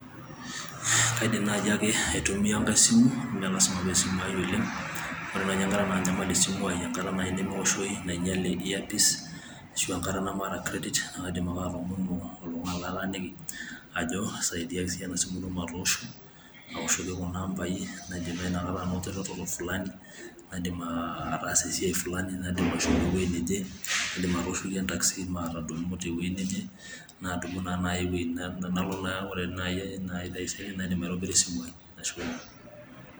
kaidim naaji ake atumia enkaisimu imelasima paa esimwai oleng',ore naaji enkata nang'iale asimuai oleng'enngata naaji nemeoshooi nang'iale earpiece ,aashu engata nemaata credit naa kaidim ake atomono oltung'ani lataaniki, ajo isadiaki siyie enasimu ino matoosho aawoshoki kuna ambai naadim naa inakata anoto eretoto fulani , naaidim ataasa esiai fulani , naidim ashomo eweji neje ,naidim atooshoki entakisii maawa eweji neje, naaya naa neuku ore taaise naidim aitobira esimu ai.